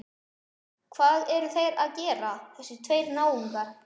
Hvað eru þeir að gera, þessir tveir náungar?